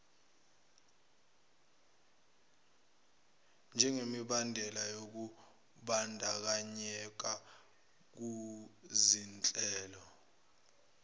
njengemibandela yokumbandakanyeka kuzinhlelo